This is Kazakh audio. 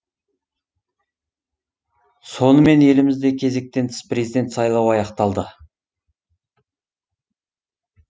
сонымен елімізде кезектен тыс президент сайлауы аяқталды